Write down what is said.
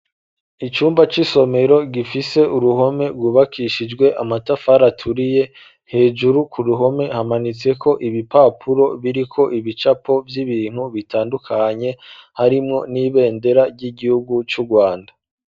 icyumba cy'isomero gifise uruhome rwubakishijwe amatafara aturiye hejuru ku ruhome hamanitseko ibipapuro biriko ibicapo by'ibintu bitandukanye harimwo n'ibendera ry'igihugu cy'urwanda.